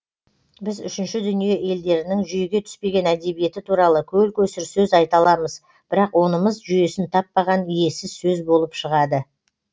біз үшінші дүние елдерінің жүйеге түспеген әдебиеті туралы көл көсір сөз айта аламыз бірақ онымыз жүйесін таппаған иесіз сөз болып шығады